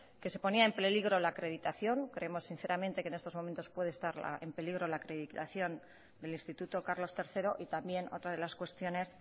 que se ponía en peligro la acreditación creemos sinceramente que en estos momentos puede estar en peligro la acreditación del instituto carlos tercero y también otra de las cuestiones